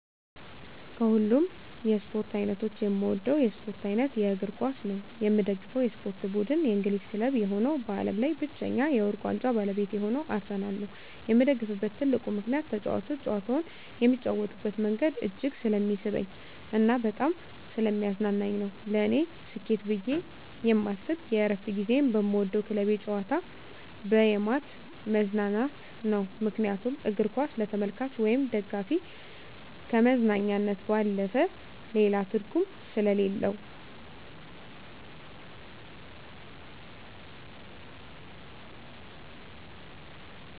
ከሀሉም የስፓርት አይነቶች የምወደው የስፖርት አይነት የእግርኳስ ነው። የምደግፈው የስፖርት ብድን የእንግሊዝ ክለብ የሆነው በአለም ላይ ብቻኛ የውርቅ ዋንጫ ባለቤት የሆነው አርሰናል ነው የምደግፍበት ትልቁ ምከንያት ተጫዋቾች ጨዋታውን የሚጫወቱበት መንገድ እጅግ ስለሚስበኝ እና በጣም ሰለሚያዝናናኝ ነው። ለኔ ስኬት ብየ የማስብ የእረፍት ጊዚየን በምወደው ክለቤ ጨዋታ በየማት መዝናናት ነው ምክንያቱም እግርኳስ ለተመልካች ወይም ደጋፊ ከመዝናኛነት ባለፈ ሌላ ትርጉም ሰሌለው።